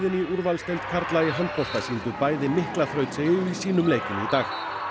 í úrvalsdeild karla í handbolta sýndu mikla þrautseigju í sínum leikjum í dag